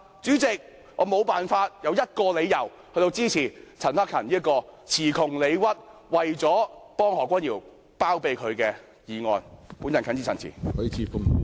主席，我無法找出一個理由支持陳克勤議員這項詞窮理屈，只為包庇何君堯議員的議案。